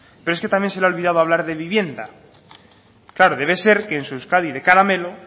pero es que también se le ha olvidado hablar de vivienda claro debe ser que en su euskadi de caramelo